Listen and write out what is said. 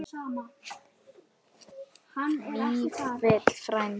Vífill frændi.